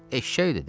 Eşşəkdir də.